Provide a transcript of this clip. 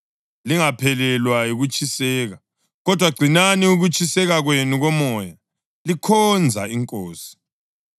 Lingaphelelwa yikutshiseka, kodwa gcinani ukutshiseka kwenu komoya, likhonza iNkosi.